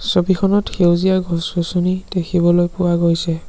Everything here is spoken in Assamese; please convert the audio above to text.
ছবিখনত সেউজীয়া গছ-গছনি দেখিবলৈ পোৱা গৈছে।